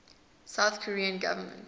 south korean government